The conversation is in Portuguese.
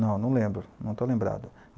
Não, não lembro, não estou lembrado.